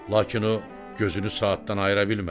Lakin o gözünü saatdan ayıra bilmədi.